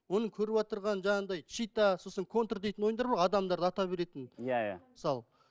оны көріватырған жаңағындай щита сосын контр дейтін ойындар бар ғой адамдарды ата беретін иә иә мысалы